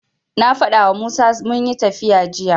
Na faɗawa Musa munyi tafiya jiya.